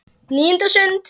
NÍUNDA STUND